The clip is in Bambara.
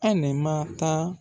Anɛ ma taa